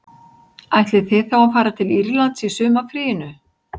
Ætlið þið þá að fara til Írlands í sumarfríinu